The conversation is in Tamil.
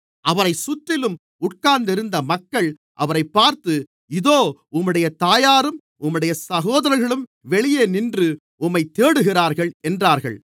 அவரைச் சுற்றிலும் உட்கார்ந்திருந்த மக்கள் அவரைப் பார்த்து இதோ உம்முடைய தாயாரும் உம்முடைய சகோதரர்களும் வெளியே நின்று உம்மைத் தேடுகிறார்கள் என்றார்கள்